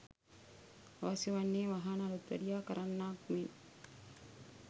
අවශ්‍ය වන්නේ වාහන අලුත්වැඩියා කරන්නාක් මෙන්